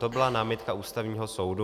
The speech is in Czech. To byla námitka Ústavního soudu.